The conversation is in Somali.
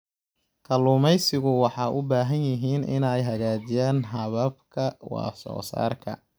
Kalluumaysigu waxay u baahan yihiin inay hagaajiyaan hababka wax soo saarka.